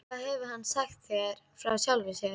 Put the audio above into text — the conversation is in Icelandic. Hvað hefur hann sagt þér frá sjálfum sér?